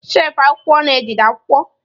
shelfụ akwụkwọ na-ejide akwụkwọ.